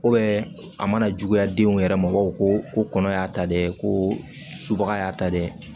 a mana juguya denw yɛrɛ ma o ko ko kɔnɔ y'a ta dɛ ko subaga y'a ta dɛ